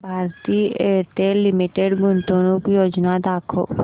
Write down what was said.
Bharti Airtel limited गुंतवणूक योजना दाखव